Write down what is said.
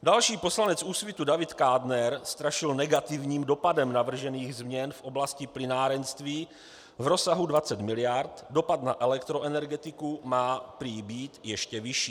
Další poslanec Úsvitu, David Kádner, strašil negativním dopadem navržených změn v oblasti plynárenství v rozsahu 20 miliard, dopad na elektroenergetiku má prý být ještě vyšší.